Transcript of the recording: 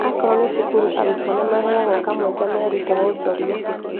Akorwo nĩ cukuru arutwo nĩmaheagwo kamweke meerute wonjoria